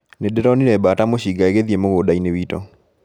Nĩndĩronire mbata mũcinga ĩgĩthiĩ mũgũnda-inĩ witũ